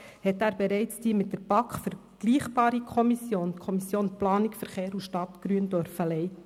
Dort hat er bereits die mit der BaK vergleichbare Kommission, die Kommission für Planung, Verkehr und Stadtgrün (PVS), geleitet.